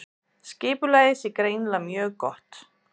Skipulagið sé greinilega mjög gott